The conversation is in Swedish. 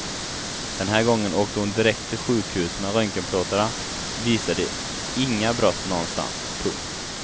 Den här gången åkte hon direkt till sjukhus men röntgenplåtarna visade inga brott någonstans. punkt